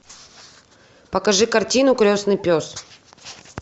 покажи картину крестный пес